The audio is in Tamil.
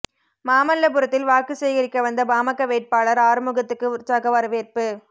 மாமல்லபுரத்தில் வாக்கு சேகரிக்க வந்த பாமக வேட்பாளர் ஆறுமுகத்துக்கு உற்சாக வரவேற்பு